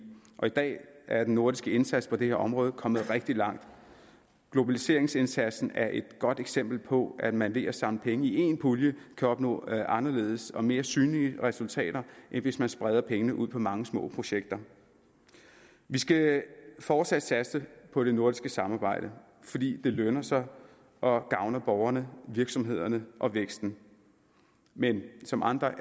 og i dag er den nordiske indsats på det her område kommet rigtig langt globaliseringsindsatsen er et godt eksempel på at man ved at samle penge i en pulje kan opnå anderledes og mere synlige resultater end hvis man spreder pengene ud på mange små projekter vi skal fortsat satse på det nordiske samarbejde fordi det lønner sig og gavner borgerne virksomhederne og væksten men som andre